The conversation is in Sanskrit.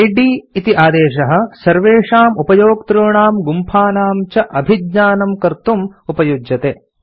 इद् इति आदेशः सर्वेषाम् उपयोक्तॄणां गुम्फानां च अभिज्ञानम् कर्तुम् उपयुज्यते